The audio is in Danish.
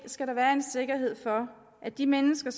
skal der være en sikkerhed for at de mennesker